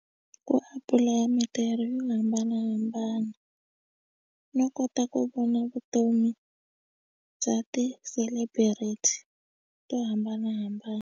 Ku apulaya mintirho yo hambanahambana no kota ku vona vutomi bya ti-celebrity to hambanahambana.